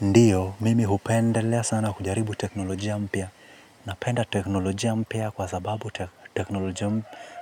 Ndiyo, mimi hupendelea sana kujaribu teknolojia mpya. Napenda teknolojia mpya kwa sababu